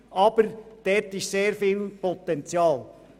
Aber hier liegt viel Potenzial.